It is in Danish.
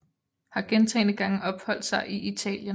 Har gentagne Gange opholdt sig i Italien